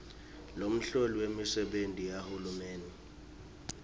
lomholi wemisebenti yahulumende